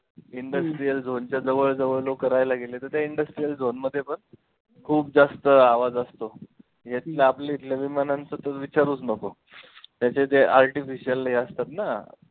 industrial zone च्या जवळ जवळ लोकं राहायला गेले, तर त्या industrial zone मध्ये पण खूप जास्त आवाज असतो, या आपल्या इथल्या विमानांचं तर विचारूचं नको त्याच्या त्या artificial हे असतात ना